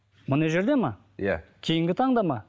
мына жерде ме иә кейінгі таңда ма